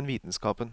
enn vitenskapen.